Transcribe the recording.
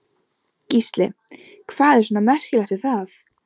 Gísli: Hvað er svona merkilegt við það?